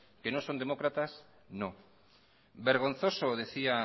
que no son demócratas no vergonzoso decía